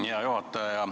Hea juhataja!